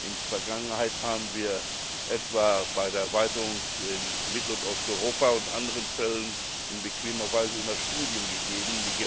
In der Vergangenheit haben wir etwa bei der Erweiterung in Mittel und Osteuropa und in anderen Fällen in bequemer Weise immer Studien in Auftrag gegeben.